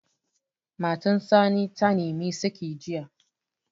Matar Sani ta nimi saƙi jiya